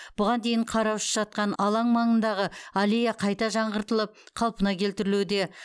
бұған дейін қараусыз жатқан алаң маңындағы аллея қайта жаңғыртылып қалпына келтірілуде